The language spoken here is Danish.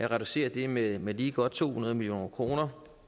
reducere det med med lige godt to hundrede million kroner